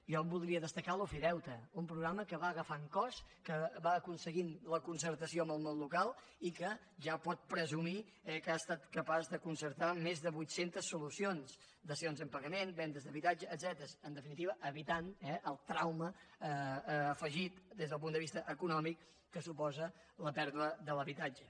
jo en voldria destacar l’ofideute un programa que va agafant cos que va aconseguint la concertació amb el món local i que ja pot presumir eh que ha estat capaç de concertar més de vuit centes solucions dacions en pagament vendes d’habitatge etcètera en definitiva evitant el trauma afegit des del punt de vista econòmic que suposa la pèrdua de l’habitatge